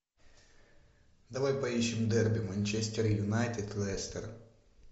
давай поищем дерби манчестер юнайтед лестер